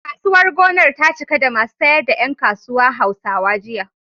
Kasuwar gonar ta cika da masu sayar da ƴan kasuwa Hausawa, jiya.